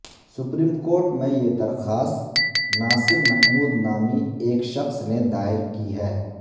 supreme court میں یہ درخواست ناصر محمود نامی ایک شحض نے دائر کی ہے